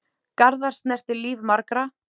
Garðar snerti líf margra.